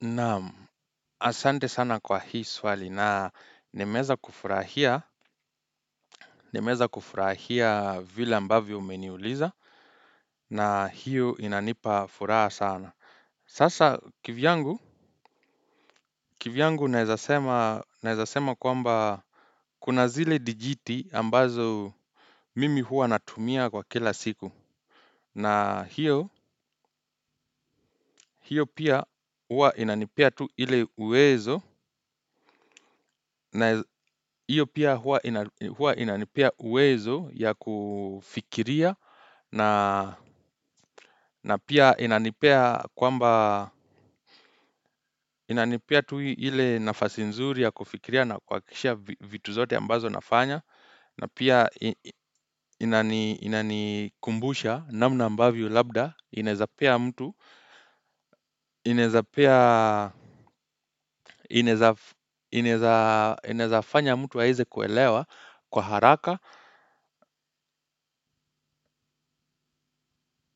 Naam asante sana kwa hii swali na nimeza kufurahia. Nimeza kufurahia vile ambavyo umeniuliza na hiyo inanipa furaha sana. Sasa kivyangu kivyangu naezasema kwamba kuna zile dijiti ambazo mimi huwa natumia kwa kila siku. Na hiyo hiyo pia huwa inanipea tu ile uwezo ya kufikiria na pia inanipea kwamba tu ile nafasi nzuri ya kufikiria na kuakikisha vitu zote ambazo nafanya. Na pia inani kumbusha namna ambavyo labda inaezapea mtu inaezapea, inaezafanya mtu aeze kuelewa kwa haraka.